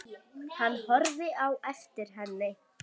Hann horfði á eftir henni.